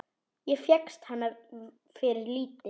Og fékkst hana fyrir lítið!